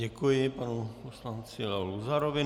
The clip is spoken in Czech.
Děkuji panu poslanci Leo Luzarovi.